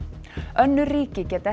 önnur ríki geta